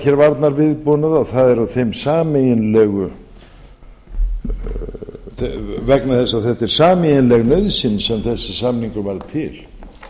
hér varnarviðbúnað og það er vegna þess að þetta er sameiginleg nauðsyn sem þessi samningur varð til